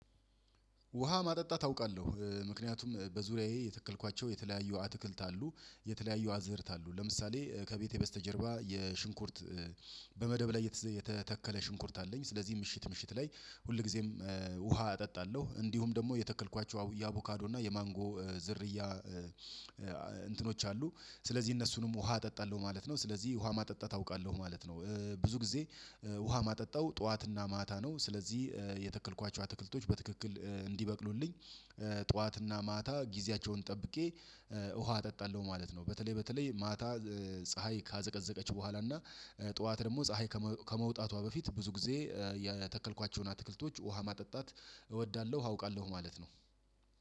ውሃ ማጠጣት አውቃለሁ ምክንያቱም በዙሪያዬ የተከልኳቸው የተለያዩ አትክልት አሉ የተለያዩ አዘርት አሉ ለምሳሌ ከቤቴ በስተጀርባ የሽንኩርት በመደብ ላይ የተተከለ ሽንኩርት አለኝ ስለዚህ ምሽት ምሽት ላይ ሁልጊዜም ውሃ እጠጣለሁ እንዲሁም ደግሞ የተከልኳቸው የአቡካዶ እና የማንጎ ዝርያ እንትኖች አሉ ስለዚህ እነሱንም ውሃ እጠጣለሁ ማለት ነው ስለዚህ ውሃ ማጠጣት አውቃለሁ ማለት ነው። ብዙ ጊዜ ውሃ ማጠጣው ጠዋትና ማታ ነው ስለዚህ የተከልኳቸው አትክልቶች በትክክል እንዲበቅሉልኝ ጠዋትና ማታ ጊዜያቸውን ጠብቄ ውሃ እጠጣለሁ ማለት ነው። በተለይ በተለይ ማታ ፀሀይ ካዘቀዘቀች በኋላ እና ጠዋት ደግሞ ፀሀይ ከመውጣቷ በፊት ብዙ ጊዜ የተከልኳቸውን አትክልቶች ውሃ ማጠጣት እወዳለሁ አውቃለሁ ማለት ነው።